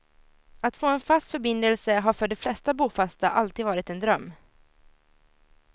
Att få en fast förbindelse har för de flesta bofasta alltid varit en dröm.